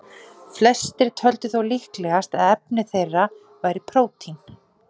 Flestir töldu þó líklegast að efni þeirra væri prótín.